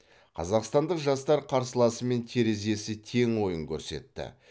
қазақстандық жастар қарсыласымен терезесі тең ойын көрсетті